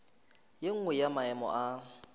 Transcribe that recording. ye nngwe ya maemo a